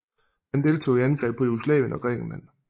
Han deltog i angrebet på Jugoslavien og Grækenland